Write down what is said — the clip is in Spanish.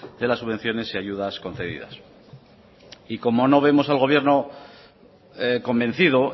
de las subvenciones y ayudas concedidas y como no vemos al gobierno convencido